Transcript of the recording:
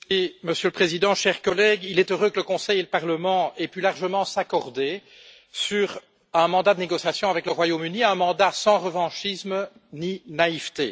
Monsieur le Président, chers collègues, il est heureux que le Conseil et le Parlement aient pu largement s'accorder sur un mandat de négociation avec le Royaume Uni, un mandat sans revanchisme ni naïveté.